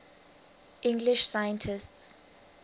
english scientists